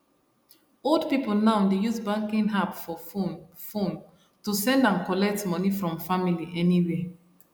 old people now dey use banking app for phone phone to send and collect money from family anywhere